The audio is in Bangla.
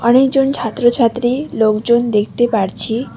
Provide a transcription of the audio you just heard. অনেকজন ছাত্রছাত্রী লোকজন দেখতে পারছি।